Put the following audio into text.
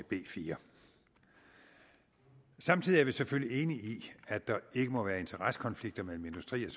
b fjerde samtidig er vi selvfølgelig enige i at der ikke må være interessekonflikter mellem industri og